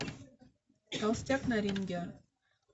толстяк на ринге